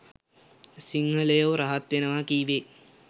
සිංහලයෝ රහත් වෙනවා කීවේ